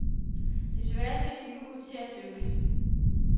Desværre ser det ikke ud til at lykkes.